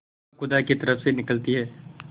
वह खुदा की तरफ से निकलती है